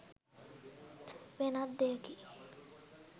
වෙනත් දෙයකි.